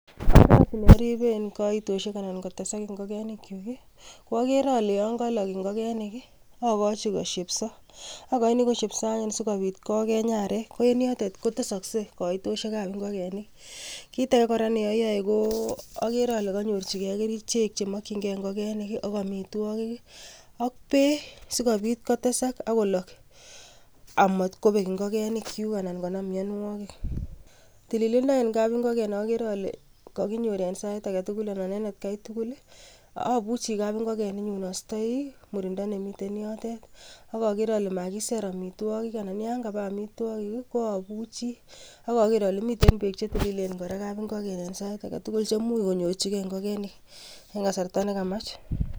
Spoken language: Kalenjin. Oret neoriben koitosiek anan kotesak ingogenikyuk ko ageere ale yon kolog ingokenik akochi kosheebsoo. Akoinii kosheebsoo anyun sikobiit kogeny arek ko en yotet kotesoksei koitosiek ab ingogenik. Kitage kora neoyoe ko ageere ale kanyoorchigei kerichek chemokyingei ingogenik ak amitwoogiik ak beek sikobiit kotesak ak koloog amor kobeek ingokenikchuk anan konaam mionwoogiik. Tililindo en kapingogen agere ale kakinyoor en Sait agetugul anan ko en etkai tugul. Abuchi kap ingogen astoi murindo nemiten yootet ak agere ale makiseer amitwoogik ak yon kabaa amitwoogiik ko abuche ak ageer ale miten beek chetililen kapingogen ak komuch konyoorchigei ingigenik en kasarta nekamach.